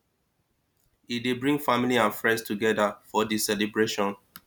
e dey bring family and friends togeda for di celibration